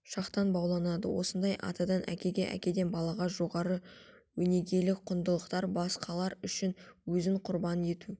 шақтан бауланады осында атадан әкеге әкеден балаға жоғары өнегелік құндылықтар басқалар үшін өзін құрбан ету